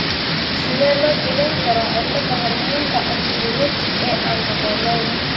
Sidee loo daweyn karaa cilladda hoormoonka antidiuretic ee aan habboonayn?